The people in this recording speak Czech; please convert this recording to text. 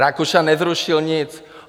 Rakušan nezrušil nic.